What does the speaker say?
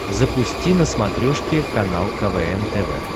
запусти на смотрешке канал квн тв